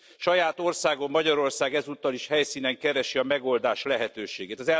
Saját országom, Magyarország ezúttal is helyszínen keresi a megoldás lehetőségét.